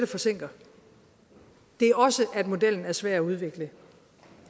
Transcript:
forsinker det er også at modellen er svær at udvikle